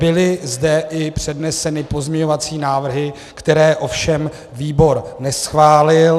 Byly zde i předneseny pozměňovací návrhy, které ovšem výbor neschválil.